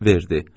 Verdi.